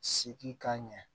Sigi ka ɲɛ